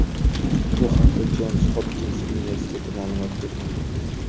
Bu haqda Jons Hopkins universiteti ma’lumot bergan .